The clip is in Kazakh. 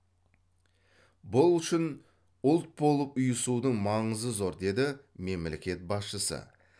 бұл үшін ұлт болып ұйысудың маңызы зор деді мемлекет басшысы